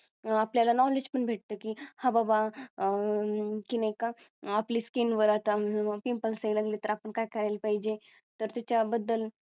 आपल्या ला Knowledge पण भेटतं की हा बाबा अह की नाही का आपली Skin वर आता मग Pimpales यायला लागली तर काय करायला पाहिजे तर त्याच्याबद्दल